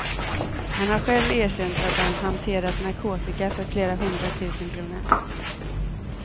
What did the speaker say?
Han har själv erkänt att han hanterat narkotika för flera hundra tusen kronor.